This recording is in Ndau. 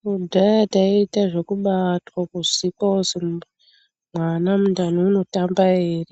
Kudhaya taiita zvekubatwa kuzikwa kuzi mwana mundani unotamba here,